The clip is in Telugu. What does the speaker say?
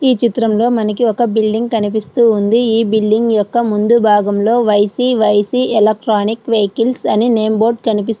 ఈ చిత్రంలో మనకి ఒక బిల్డింగ్ కనిపిస్తూ ఉంది. ఈ బిల్డింగ్ యొక్క ముందు భాగంలో వైసి వైసి ఎలక్ట్రానిక్ వెహికల్స్ అని నేమ్ బోర్డ్ కనిపి --